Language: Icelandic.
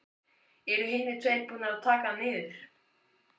Eru hinir tveir búnir að taka hann niður.